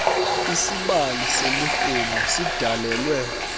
isibali semirhumo sidalelwe